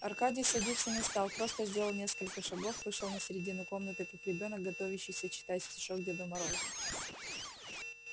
аркадий садиться не стал просто сделал несколько шагов вышел на середину комнаты как ребёнок готовящийся читать стишок деду морозу